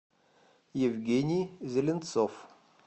евгений зеленцов